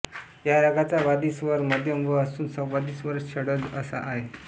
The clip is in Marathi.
या रागाचा वादी स्वर मध्यम म असून संवादी स्वर षड्ज सा आहे